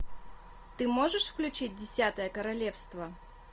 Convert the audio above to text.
ты можешь включить десятое королевство